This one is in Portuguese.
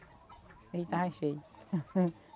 O rio estava cheio.